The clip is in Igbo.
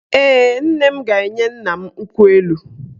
Ee, nne m ga-enye nna m nkwụ elu